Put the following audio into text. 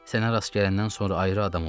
Sənə rast gələndən sonra ayrı adam oldum.